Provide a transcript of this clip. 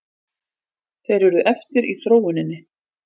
Þeir urðu eftir í þróuninni.